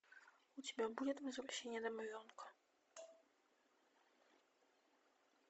у тебя будет возвращение домовенка